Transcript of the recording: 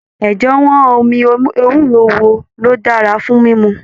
Ẹjẹwọn omi ewúro wo lo dára fún mímú.